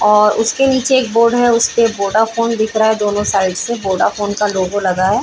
और उसके नीचे एक बोर्ड है उस पे वोडाफोन दिख रहा है दोनों साइड से वोडाफोन का लोगो लगा है।